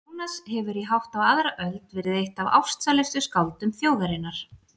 Jónas hefur í hátt á aðra öld verið eitt af ástsælustu skáldum þjóðarinnar.